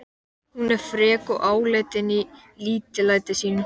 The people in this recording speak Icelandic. Hún er frek og áleitin í lítillæti sínu.